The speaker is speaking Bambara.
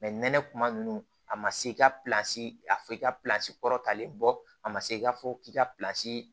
nɛnɛ kuma nunnu a ma se i ka a fɔ i ka kɔrɔtalen bɔ a ma se i ka fɔ k'i ka